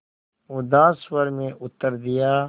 उदास स्वर में उत्तर दिया